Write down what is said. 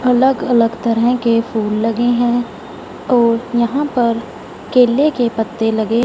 अलग अलग तरह के फूल लगे हैं और यहां पर केले के पत्ते लगे--